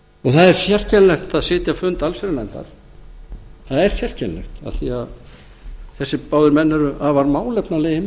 það er sérkennilegt að sitja fund allsherjarnefndar það er sérkennilegt af því að þessir báðir menn eru afar málefnalegir